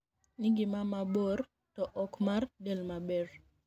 nigima mabor to ok mar del maber.